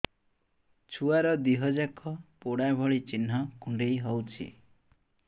ଛୁଆର ଦିହ ଯାକ ପୋଡା ଭଳି ଚି଼ହ୍ନ କୁଣ୍ଡେଇ ହଉଛି